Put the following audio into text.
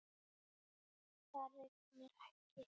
Það rignir ekki.